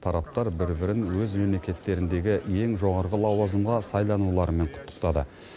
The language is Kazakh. тараптар бір бірін өз мемлекеттеріндегі ең жоғарғы лауазымға сайлануларымен құттықтады